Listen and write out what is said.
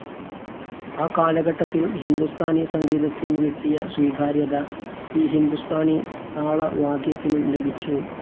ആ കാലഘട്ടത്തിൽ ഹിന്ദുസ്ഥാനി സംഗീതത്തിനു കിട്ടിയ സ്വീകാര്യത, ഈ ഹിന്ദുസ്ഥാനി താളവാദ്യത്തിനും ലഭിച്ചു.